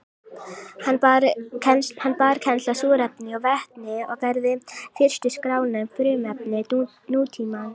Hann bar kennsl á súrefni og vetni og gerði fyrstu skrána um frumefni nútímans.